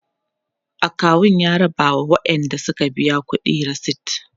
akawu ya raba ma waƴanda Suka biya ƙuɗi resit